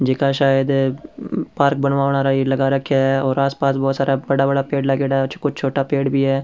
जे का सायद पार्क बनवाना लगा राख्या है और आसपास बहुत सारा बड़ा बड़ा पेड़ लगेड़ा है और कुछ छोटा पेड़ भी है।